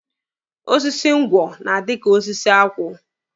Osisi ngwọ na-adị ka osisi akwụ.